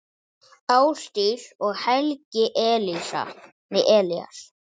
Ásdís og Helgi Elías.